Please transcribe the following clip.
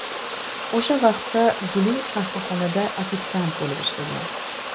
O‘sha vaqtda Guli qahvaxonada ofitsiant bo‘lib ishlagan.